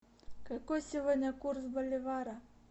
какой сегодня курс боливара